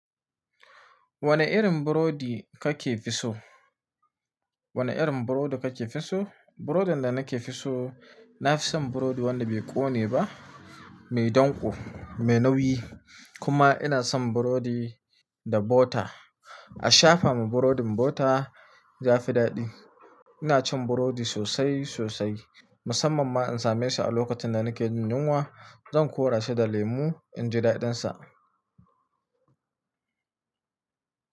Wane irin burodi kake fi so? Wane irin burodi kake fi so? Brodin da nake fi so, na fi son burodi wanda bai kone ba, mai danƙo, mai nauyi kuma ina son burodi da bota. A shafa ma brodin bota ya fi daɗi. Ina cin burodi sosai sosai, musamman ma in same shi a lokacin da nake jin yunwa. Zan kora shi da lemu in ji daɗinsa.